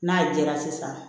N'a jɛra sisan